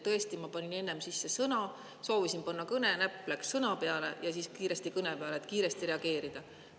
Tõesti, ma panin enne sisse "Sõna" – soovisin panna "Kõne", aga näpp läks "Sõna" peale – ja siis kiiresti "Kõne" peale, et kähku reageerida.